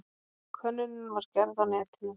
Könnunin var gerð á netinu.